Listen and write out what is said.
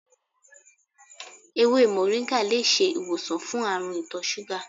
Ewé moringa lè ṣe ìwòsàn fún àrùn itọ́ súgà.